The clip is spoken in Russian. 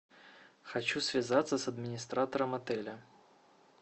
хочу связаться с администратором отеля